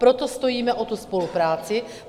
Proto stojíme o tu spolupráci.